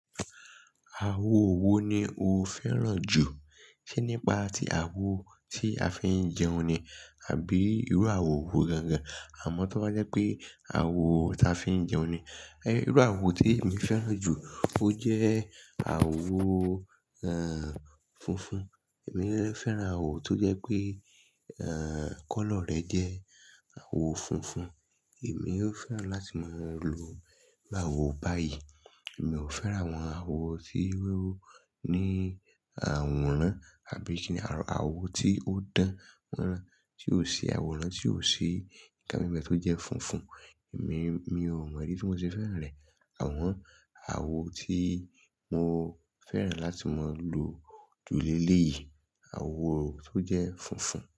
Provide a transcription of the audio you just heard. Àwo wo ni o fẹ́ràn jù? Ṣe nípa tí àwo tí a fi ń jẹun ni, àbí irú àwo wo gángán? Àmọ́ tó bá jẹ́ pé àwo ta fi ń jẹun ni, irú àwo tí èmi fẹ́ràn jù, ó jẹ́ àwo, funfun. Èmi de lẹ́ fẹ́ràn àwo tó jẹ́ pé, kọ́lọ̀ rẹ̀ jẹ́ àwo funfun. Èmi ó fẹ́ràn láti máa lo ìrú àwo báyìí. Èmi ò fẹ́ràn àwọn àwo tí iru awo ní àwòrán, àbí ni se ni, àwo tí ó dán mọ́ran, tí ó ṣi àwòrán, tí ó ṣi nńká nbe tó jẹ́ funfun. Èmi, mi ò mọ ìdí tí mo ṣe fẹ́ràn rẹ̀, àwọn àwo tí mo fẹ́ràn láti máa lo ju lélẹ̀ yìí, àwo tó jẹ́ funfun.